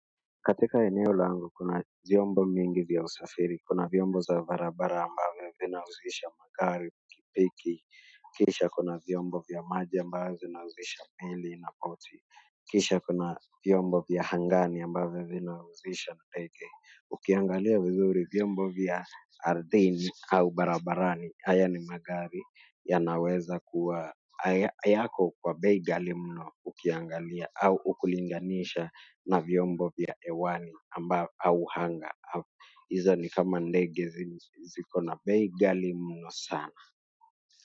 Katika eneo langu kuna vyombo mingi vya usafiri, kuna vyombo za barabara ambavyo vinahusisha magari pikipiki, kisha kuna vyombo vya maji ambayo vinahusisha meli na poti, kisha kuna vyombo vya angani ambavyo vinahusisha ndege. Ukiangalia vizuri vyombo vya ardhini au barabarani haya ni magari yanaweza kuwa hayako kwa bei ghali mno ukiangalia au ukilinganisha na vyombo vya hewani ambao au anga hizo ni kama ndege ziko na bei ghali mno sana.